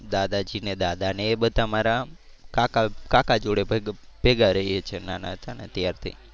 દાદાજી ને દાદા ને એ બધા મારા કાકા કાકા જોડે ભેગા ભેગા રહીએ છે નાના હતા ને ત્યારથી